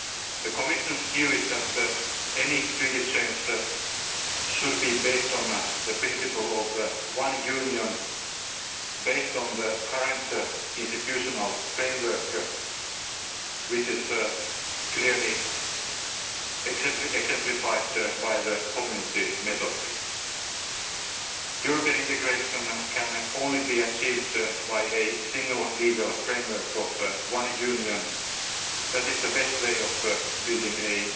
Council. The Commission's view is that any Treaty change should be based on the principle of one Union, based on the current institutional framework, which is clearly exemplified by the Community method. European integration can only be achieved by a single legal framework of one Union. That is the best